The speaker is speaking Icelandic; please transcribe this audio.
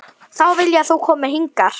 Þá vil ég að þú komir hingað!